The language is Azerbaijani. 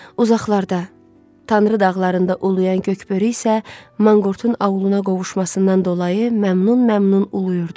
Uzaqlarda Tanrı dağlarında uluyan göqbörü isə manqurtun auluna qovuşmasından dolayı məmnun-məmnun uluyurdu.